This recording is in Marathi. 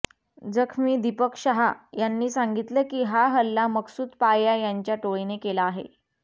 जखमी दीपक शाह यांनी सांगितलं की हा हल्ला मकसूद पाया यांच्या टोळीने केला आहे